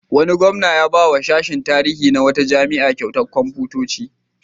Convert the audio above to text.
Wani gwamna ya ba wa sashin tarihi na wata jami'a kyautar kwamfutoci.